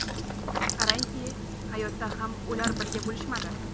Qarangki, hayotda ham ular birga bo‘lishmadi.